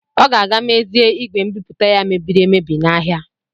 Ọ ga-aga ruzie igwe mbipụta ya mebiri emebi n'ahịa.